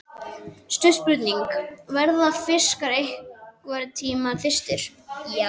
Stutt spurning, verða fiskar einhverntímann þyrstir!??